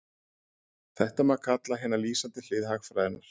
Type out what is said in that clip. Þetta má kalla hina lýsandi hlið hagfræðinnar.